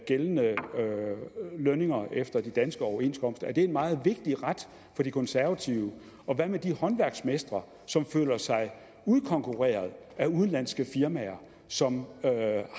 gældende lønninger efter de danske overenskomster er det en meget vigtig ret for de konservative og hvad med de håndværksmestre som føler sig udkonkurreret af udenlandske firmaer som